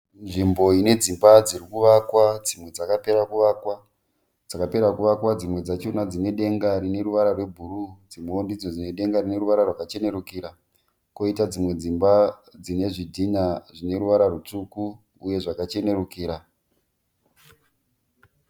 Nzvimbo ine dzimba dziri kuvakwa dzimwe dzakapera kuvakwa. Dzakapera kuvakwa dzimwe dzachona dzine denga rine ruvara rwebhuruu dzimwewo ndidzo dzine ruvara rwakachenerukira. Kwoita dzimwe dzimba dzine nezvitinha zvine ruvara rutsvuku uye zvakachenerukira.